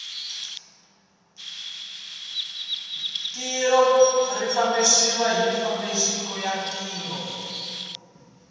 tiko ri fambisiwa hi mafambiselo ya tiko